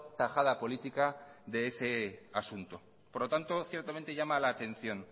tajada política de ese asunto por lo tanto ciertamente llama la atención